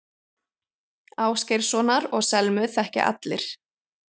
Ásgeirssonar og Selmu þekkja allir.